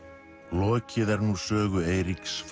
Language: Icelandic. lokið er nú sögu Eiríks